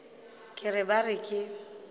ke re ba re ke